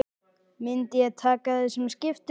Myndi ég taka þessum skiptum?